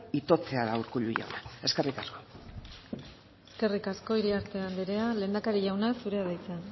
itotzea da urkullu jauna eskerrik asko eskerrik asko iriarte andrea lehendakari jauna zurea da hitza